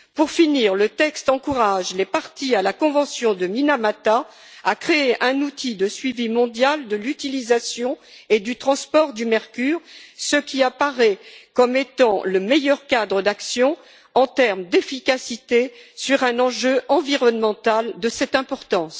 Enfin, le texte encourage les parties à la Convention de Minamata à créer un outil de suivi mondial de l'utilisation et du transport du mercure, ce qui apparaît comme étant le meilleur cadre d'action, en termes d'efficacité, sur un enjeu environnemental de cette importance.